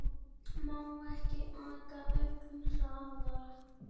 Má ekki aka ögn hraðar?